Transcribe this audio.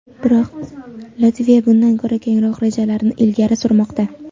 Biroq Latviya bundan ko‘ra kengroq rejalarni ilgari surmoqda.